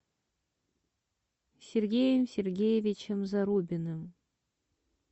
сергеем сергеевичем зарубиным